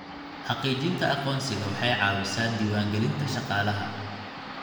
Xaqiijinta aqoonsiga waxay caawisaa diiwaangelinta shaqaalaha